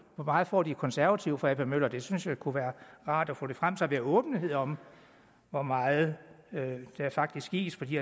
hvor meget får de konservative fra ap møller det synes jeg kunne være rart at få frem så vi har åbenhed om hvor meget der faktisk gives fra de